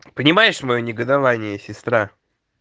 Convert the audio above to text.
понимаешь моё негодование сестра